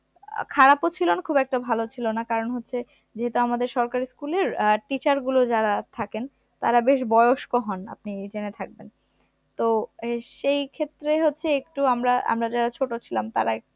খারাপও ছিল না খুব একটা ভালোও ছিল না কারণ হচ্ছে যেহেতু আমাদের সরকারি school এর আহ teacher গুলো যারা থাকেন তারা বেশ বয়স্ক হন, আপনি জেনে থাকবেন, তো এই সেই ক্ষেত্রে হচ্ছে একটু আমরা আমরা যারা ছোট ছিলাম তারা